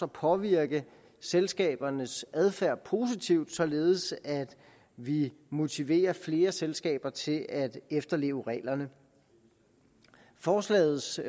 påvirke selskabernes adfærd positivt således at vi motiverer flere selskaber til at efterleve reglerne forslagets